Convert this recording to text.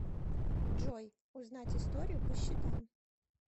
джой узнать историю по счетам